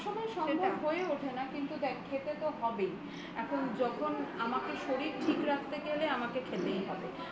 সবসময় সম্ভব হয়ে ওঠে না কিন্তু দেখ খেতে তো হবেই যখন আমাকে শরীর ঠিক রাখতে গেলে আমাকে খেতেই হবে